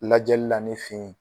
Lajɛli la ne fe ye